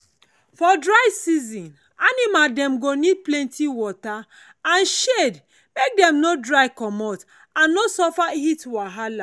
for dry season animal dem go need plenty water and shade make dem no dry comot and no suffer heat wahala.